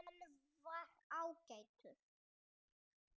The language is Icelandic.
Hann var ágætur